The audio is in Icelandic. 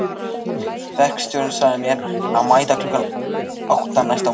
Verkstjórinn sagði mér að mæta klukkan átta næsta morgun.